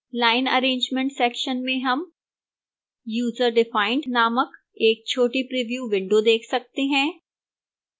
line arrangement section में हम userdefined named एक छोटी preview window देख सकते हैं